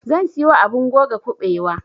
zan siyo abun goga kuɓewa